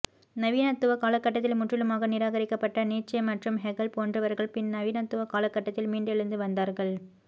நவீனத்துவ காலகட்டத்தில் முற்றிலுமாக நிராகரிக்கபப்ட்ட நீட்சே மற்றும் ஹெகல் போன்றவர்கள் பின் நவீனத்துவ காலகட்டத்தில் மீண்டெழுந்து வந்தார்கள்